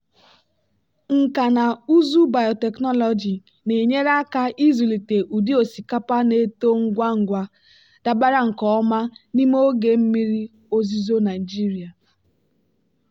nkà na ụzụ biotechnology na-enyere aka ịzụlite ụdị osikapa na-eto ngwa ngwa dabara nke ọma n'ime oge mmiri ozuzo nigeria.